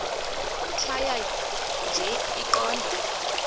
tjhaya nje iqondee